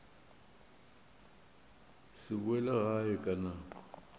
se boele gae ka nako